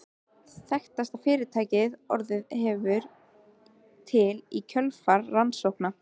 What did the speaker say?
Þekktasta fyrirtækið sem orðið hefur til í kjölfar rannsókna